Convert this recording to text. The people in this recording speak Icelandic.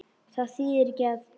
Það þýðir ekki að.